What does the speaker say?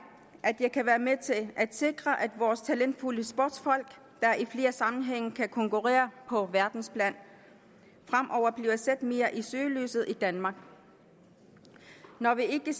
at jeg kan være med til at sikre at vores talentfulde sportsfolk der i flere sammenhænge kan konkurrere på verdensplan fremover bliver sat mere i søgelyset i danmark når vi ikke